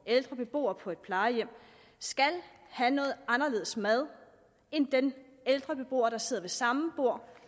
ældre beboer på et plejehjem skal have noget anderledes mad end den ældre beboer der sidder ved samme bord